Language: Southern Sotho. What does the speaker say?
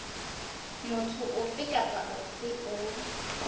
motho ofe kapa ofe o